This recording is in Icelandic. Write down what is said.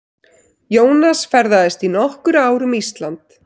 Jónas ferðaðist í nokkur ár um Ísland.